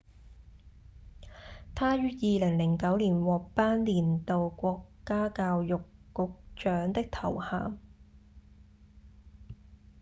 她於2009年獲頒年度國家教育局長的頭銜